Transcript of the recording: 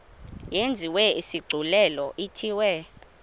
yenziwe isigculelo ithiwe